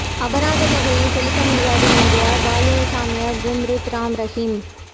அபராதத் தொகையை செலுத்த முடியாது எனகிறார் பாலியல் சாமியார் குர்மீத் ராம் ரஹிம்